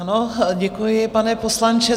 Ano, děkuji, pane poslanče.